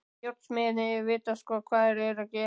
Járnsmiðirnir vita sko hvað þeir eru að gera.